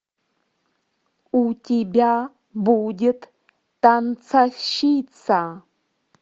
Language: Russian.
у тебя будет танцовщица